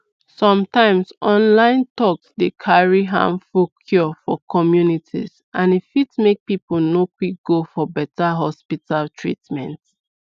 sometimes online talks go dey carry harmful cure for communities and e fit make people no quick go for beta hospital treatment